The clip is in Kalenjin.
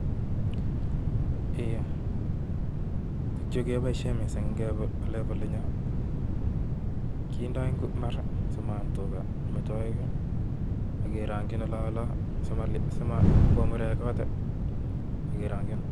Ei, Chu keboishien missing ngebwa olinyoon, kindo mbaar simaab tugaa metoek i,ak kerongyiin olonolon simabwa murek kot I,